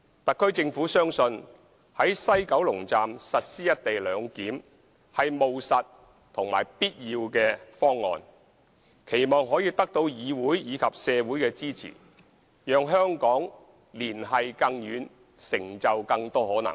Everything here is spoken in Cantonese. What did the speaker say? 特區政府相信在西九龍站實施"一地兩檢"是務實和必要的方案，期望可以得到議會及社會的支持，讓香港連繫更遠，成就更多可能。